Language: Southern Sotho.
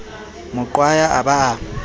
mo qwaya a ba a